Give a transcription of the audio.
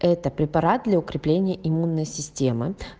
это препарат для укрепления иммунной системы